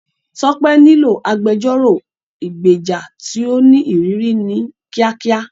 Tope nílò agbẹjọ́rò ìgbèjà tí ó ní ìrírí ní kíákíá.